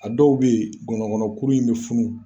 A dɔw bɛ ngɔnɔnkɔnɔ kuru in bɛ funu